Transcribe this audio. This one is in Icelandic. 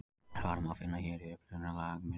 Svarið má finna hér í upprunalegri mynd.